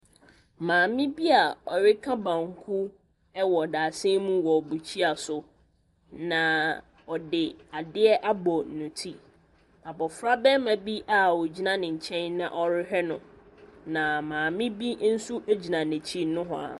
Maame bi a ɔreka banku wɔ dadesɛn mu wɔ bukyia so. Na ɔde adeɛ abɔ ne ti. Abɔfra barima bi a ɔgyina ne nkyɛn na ɔrehwɛ no, na maame bi nso gyina n'akyi nohoa.